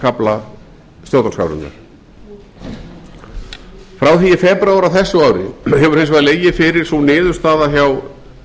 kafla stjórnarskrárinnar frá því í febrúar á þessu ári hefur hins vegar legið fyrir sú niðurstaða hjá